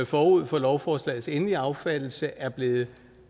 forud for lovforslagets endelige affattelse er blevet